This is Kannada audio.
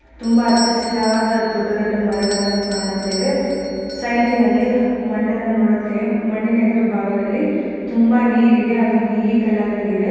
ತುಂಬಾ ಹಚ್ಚಿ ಹಸಿರದ ದೊಡ್ಡ ದೊಡ್ಡ ಮರಗನ್ನ ಕಾಣುತ್ತೇವೆ ಸೈಡಿನಲ್ಲಿ ಮಣ್ಣಿನ ನೋಡುತ್ತವೆ ಮಣ್ಣಿನ ಹೆದುರು ಭಾಗದಲ್ಲಿ ತುಂಬಾ ನೀರಿದೆ ಅದು ನೀಲಿ ಕಲರ್ ಇದೆ.